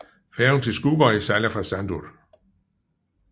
Færgen til Skúvoy sejler fra Sandur